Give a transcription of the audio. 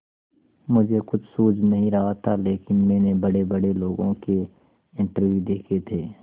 मुझे कुछ सूझ नहीं रहा था लेकिन मैंने बड़ेबड़े लोगों के इंटरव्यू देखे थे